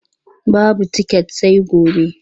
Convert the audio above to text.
Babu tiket sai gobe.